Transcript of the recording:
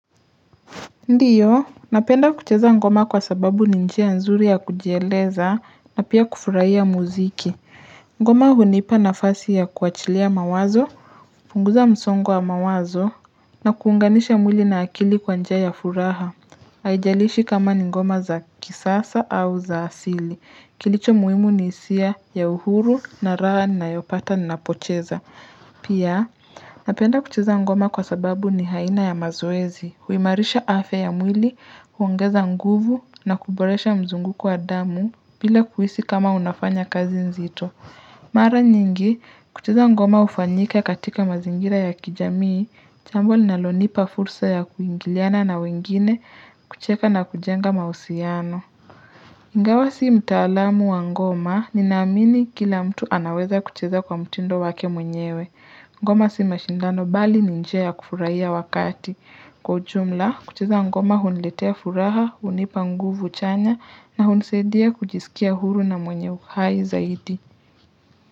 Ndiyo, napenda kucheza ngoma kwa sababu ni njia nzuri ya kujieleza na pia kufurahia muziki. Ngoma hunipa nafasi ya kuachilia mawazo, kupunguza msongo wa mawazo na kuunganisha mwili na akili kwa njia ya furaha. Haijalishi kama ni ngoma za kisasa au za asili. Kilicho muhimu ni hisia ya uhuru na raha ninayopata ninapocheza. Pia, napenda kucheza ngoma kwa sababu ni aina ya mazoezi. Huimarisha afya ya mwili, huongeza nguvu na kuboresha mzunguko wa damu bila kuhisi kama unafanya kazi nzito. Mara nyingi, kucheza ngoma hufanyika katika mazingira ya kijamii, jambo linalonipa fursa ya kuingiliana na wengine, kucheka na kujenga mahusiano. Ingawa si mtaalamu wa ngoma, ninaamini kila mtu anaweza kucheza kwa mtindo wake mwenyewe. Ngoma si mashindano bali ni njia ya kufurahia wakati. Kwa ujumla, kucheza ngoma huniletea furaha, hunipa nguvu chanya nahunisaidia kujisikia huru na mwenye uhai zaidi.